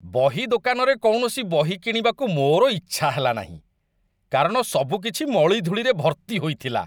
ବହି ଦୋକାନରେ କୌଣସି ବହି କିଣିବାକୁ ମୋର ଇଚ୍ଛା ହେଲାନାହିଁ, କାରଣ ସବୁକିଛି ମଳିଧୂଳିରେ ଭର୍ତ୍ତି ହୋଇଥିଲା